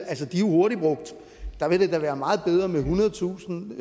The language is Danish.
er jo hurtigt brugt der ville det da være meget bedre med ethundredetusind